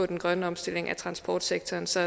den grønne omstilling af transportsektoren så